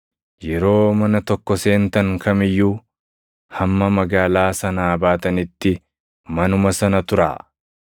Yeroo mana tokko seentan kam iyyuu, hamma magaalaa sanaa baatanitti manuma sana turaa.